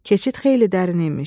Keçid xeyli dərin imiş.